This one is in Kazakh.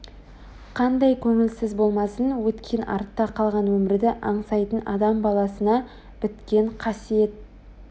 Қандай көңілсіз болмасын өткен артта қалған өмірді аңсайтын адам баласына біткен қасиет